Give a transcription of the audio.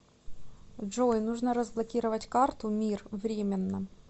джой нужно разблокировать карту мир временно